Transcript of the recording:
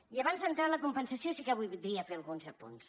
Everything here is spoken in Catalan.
i abans d’entrar en la compensació sí que voldria fer alguns apunts